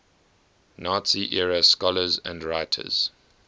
nazi era scholars and writers